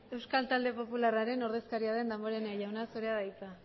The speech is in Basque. euskal talde popularraren ordezkaria damborenea jauna zurea da hitza